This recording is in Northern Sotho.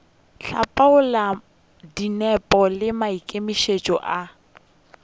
hlapaola dinepo le maikemišetšo a